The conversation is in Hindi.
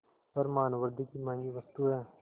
पर मानवृद्वि की महँगी वस्तु है